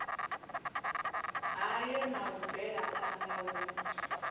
hayo na u bvelaphanda hu